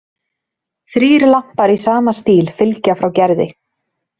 Þrír lampar í sama stíl fylgja frá Gerði.